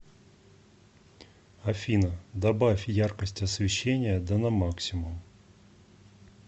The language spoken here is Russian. афина добавь яркость освещения да на максимум